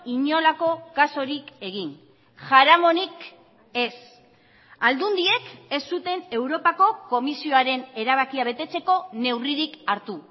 inolako kasurik egin jaramonik ez aldundiek ez zuten europako komisioaren erabakia betetzeko neurririk hartu